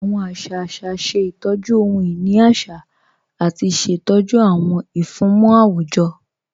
Awọn àṣà àṣà ṣẹ̀ ìtọ́jú ọhun-inì àṣà àti ṣẹ̀tọ́jú awọn ìfúnmọ̀ awujọ̀